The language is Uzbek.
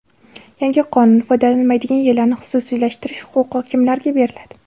Yangi qonun: foydalanilmaydigan yerlarni xususiylashtirish huquqi kimlarga beriladi?